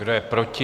Kdo je proti?